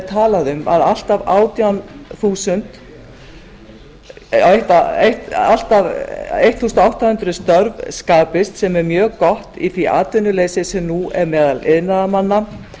talað um að allt að átján hundruð störf skapist sem er mjög gott í því atvinnuleysi sem nú er meðal iðnaðarmanna